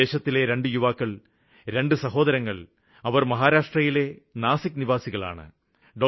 നമ്മുടെ ദേശത്തിലെ രണ്ടു യുവാക്കള് രണ്ടു സഹോദരങ്ങള് അവര് മഹാരാഷ്ട്രയിലെ നാസിക്ക് നിവാസികളാണ്